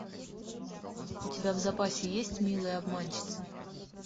у тебя в запасе есть милые обманщицы